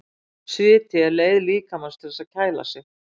Sviti er leið líkamans til þess að kæla sig.